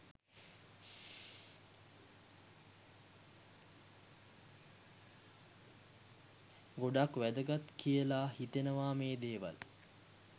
ගොඩක් වැදගත් කියලා හිතෙනවා මේ දේවල්.